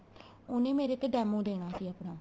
ਉਹਨੇ ਮੇਰੇ ਤੇ demo ਦੇਣਾ ਸੀ ਆਪਣਾ